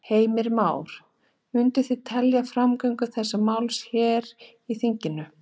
Heimir Már: Munu þið tefja framgöngu þessa máls hér í þinginu?